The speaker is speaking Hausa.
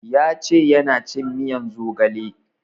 Ya ce yana cin miyan zogale